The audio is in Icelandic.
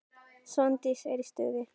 Svandís er í stuði.